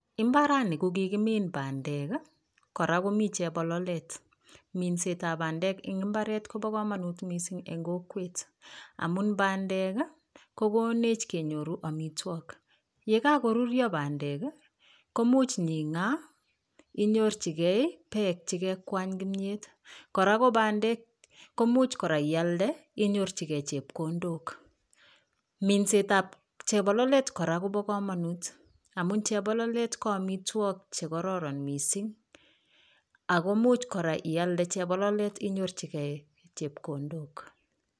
Imbarani ko kikimin bandek, kora komi chebololet. Minsetab bandek eng imbaret kobo kamanut mising eng kokwet amun bandek, ko konech kenyoru amitwokik. Ye kakoruryo bandek, ko much ing'aa inyorchigei peek che kekwany kimyet kora ko bandek ko much kora ialde inyorchigei chepkondok. Minsetab chebololet kora kobo kamanut amu chebololet ko amitwok che kororon mising aku much kora ialde chebololet inyorchigei chepkondok.